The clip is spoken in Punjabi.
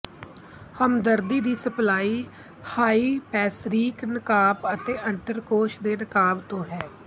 ਹਮਦਰਦੀ ਦੀ ਸਪਲਾਈ ਹਾਈਪੋੈਸਰੀਕ ਨਕਾਬ ਅਤੇ ਅੰਡਕੋਸ਼ ਦੇ ਨਕਾਬ ਤੋਂ ਹੈ